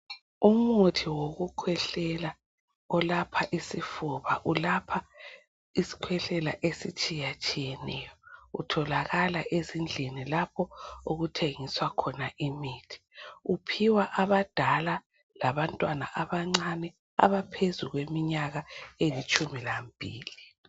umuthi wokukhwehlela olapha isifuba ulapha isikhwehlela esitshiyatshiyeneyo utholakala ezindlini lapho okuthengiswa khona imithi uphiwa abadala labantwana abancane abaphezukweminyaka elitshumilambili